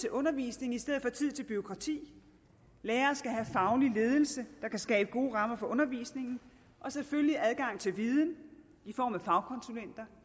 undervisning i stedet for tid til bureaukrati lærere skal have faglig ledelse der kan skabe gode rammer for undervisningen og selvfølgelig adgang til viden i form af fagkonsulenter